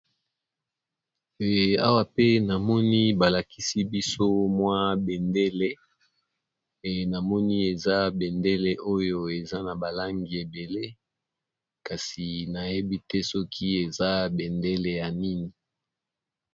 awa pe namoni balakisi biso mwa bendele e namoni eza bendele oyo eza na balangi ebele kasi nayebi te soki eza bendele ya nini